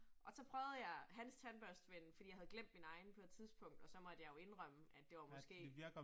Og så prøvede jeg hans tandbørste ven fordi jeg havde glemt min egen på et tidspunkt, og så måtte jeg jo indrømme, at det var måske